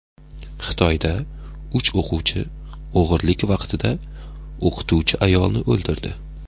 Xitoyda uch o‘quvchi o‘g‘rilik vaqtida o‘qituvchi ayolni o‘ldirdi.